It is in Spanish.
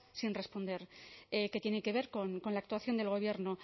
sin responder que tienen que ver con la actuación del gobierno